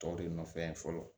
Tɔ de nɔfɛ n ye fɔlɔ